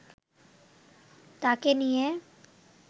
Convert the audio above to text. তাকে নিয়ে